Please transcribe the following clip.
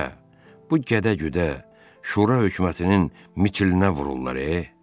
Ayə, bu gədə-güdə şura hökumətinin mitilinə vururlar e.